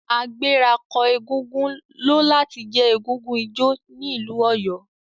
Agbẹ̀rako egúngún lo lati je egúngún ijó ni ilu Oyo.